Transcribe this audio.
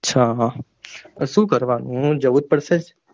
અચ્છા હા શું કરવાનું હમ જવુ જ પડશે?